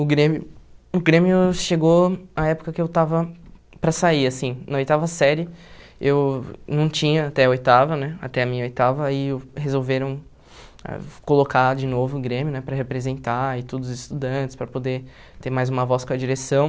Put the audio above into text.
O grêmio o grêmio chegou a época que eu estava para sair, assim, na oitava série, eu não tinha até a oitava, né, até a minha oitava, aí uh resolveram colocar de novo o grêmio, né, para representar, e tudo os estudantes, para poder ter mais uma voz com a direção.